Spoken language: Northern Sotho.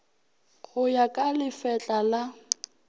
go ya ka lefetla la